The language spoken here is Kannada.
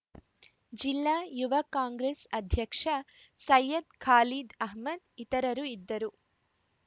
ಜಿಲ್ಲಾ ಯುವ ಕಾಂಗ್ರೆಸ್‌ ಅಧ್ಯಕ್ಷ ಸೈಯದ ಖಾಲೀದ್‌ ಅಹ್ಮದ್‌ ಇತರರು ಇದ್ದರು